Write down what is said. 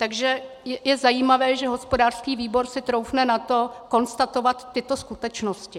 Takže je zajímavé, že hospodářský výbor si troufne na to konstatovat tyto skutečnosti.